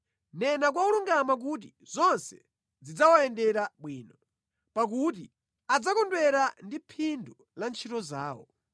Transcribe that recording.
Nena kwa olungama kuti zonse zidzawayendera bwino, pakuti adzakondwera ndi phindu la ntchito zawo.